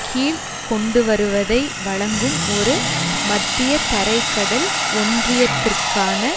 கீழ் கொண்டுவருவதை வழங்கும் ஒரு மத்திய தரை கடல் ஒன்றியத்திற்கான